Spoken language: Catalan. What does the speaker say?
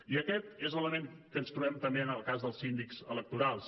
i aquest és l’element que ens trobem també en el cas dels síndics electorals